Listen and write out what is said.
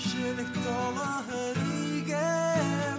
жүрек толы үрейге